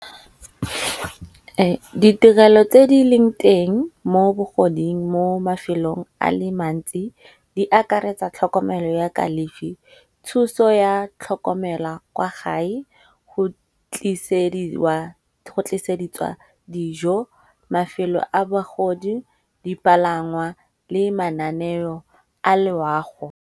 Ditirelo tse di leng teng mo bogoding, mo mafelong a le mantsi di akaretsa tlhokomelo ya kalefi. Thuso ya tlhokomela kwa gae go tliseditswa dijo, mafelo a bagodi, dipalangwa le mananeo a loago.